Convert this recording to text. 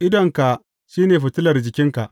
Idonka shi ne fitilar jikinka.